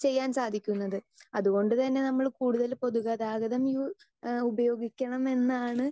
speaker 2 ചെയ്യാൻ സാധിക്കുന്നത് അതുകൊണ്ടുതന്നെ നമ്മള് കൂടുതല് പൊതുഗതാഗതം യൂസ് ഏഹ് ഉപയോഗിക്കണമെന്നാണ്